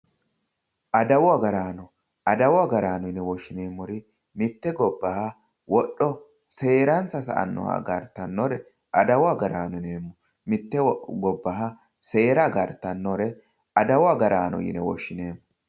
Adawu agaraano adawu agaraano yine woshshineemmori mitte gobbaha wodho seeransa sa'annoha agartannore adawu agaraano yineemmo. Mitte gobbaha seera agartannore adawu agaraano yine woshshineemmo.